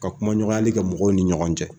Ka kumaɲɔgɔnyali kɛ mɔgɔw ni ɲɔgɔn cɛ.